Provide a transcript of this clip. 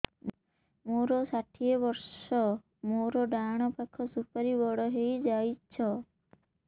ମୋର ଷାଠିଏ ବର୍ଷ ମୋର ଡାହାଣ ପାଖ ସୁପାରୀ ବଡ ହୈ ଯାଇଛ